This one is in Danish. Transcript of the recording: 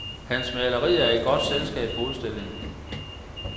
Hans malerier er i godt selskab på udstillingen.